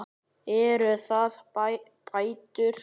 Eru það bætur?